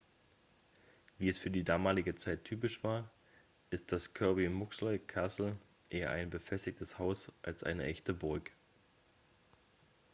wie es für die damalige zeit typisch war ist das kirby muxloe castle eher ein befestigtes haus als eine echte burg